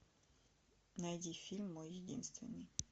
найди фильм мой единственный